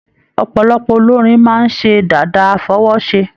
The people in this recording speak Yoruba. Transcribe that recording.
Ọpọlọpọ olórin máa n se dàda afọwọse.